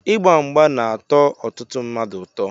Igba mgba na-atọ ọtụtụ mmadụ ụtọ.